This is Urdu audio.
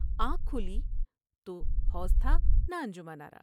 آنکھ کھلی تو حوش تھا نہ انجمن آرا ۔